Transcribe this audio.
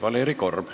Valeri Korb.